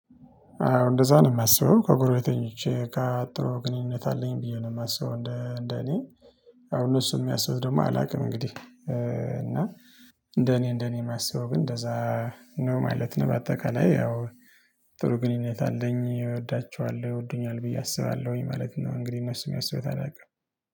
አሁን እንደዛ ነው የማስበው በጎዬ ተኝቼ በቃ ጥሩ ግንኙነት አለኝ ብዬ ነው የማስበው እንደ እኔ። አሁን እነሱ የሚያስቡትን ደግሞ አላውቅም። እንግዲህ እና እንደ እኔ እንደ እኔ የማስበው ግን እንደዛ። ነው ማለት ነው በአጠቃላይ ያው። ጥሩ ግንኙነት አለኝ እወዳቸዋለሁ ይወዱኛል ብዬ አስባለሁኝ ማለት ነው። እንግዲህ እነሱ የሚያስቡትን አላውቅም